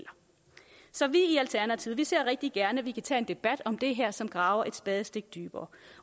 så vi i alternativet ser rigtig gerne at vi kan tage en debat om det her som graver et spadestik dybere